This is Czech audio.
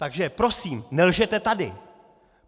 Takže prosím, nelžete tady!